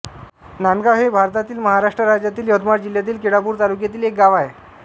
नांदगाव हे भारतातील महाराष्ट्र राज्यातील यवतमाळ जिल्ह्यातील केळापूर तालुक्यातील एक गाव आहे